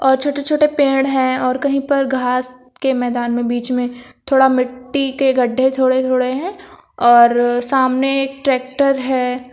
छोटे छोटे पेड़ हैं और कहीं पर घास के मैदान में बीच में थोड़ा मिट्टी के गड्ढे थोड़े थोड़े हैं और सामने एक ट्रैक्टर है।